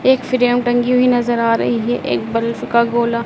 एक फ्रेम टंगी हुई नजर आ रही है एक बल्फ का गोला--